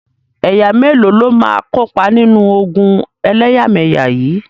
Ẹ̀yà mélòó ló máa kópa nínú ogun ẹlẹ́yàmẹyà yìí?